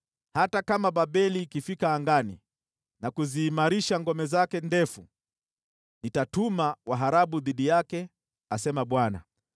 Hata kama Babeli ikifika angani na kuziimarisha ngome zake ndefu, nitatuma waharabu dhidi yake,” asema Bwana .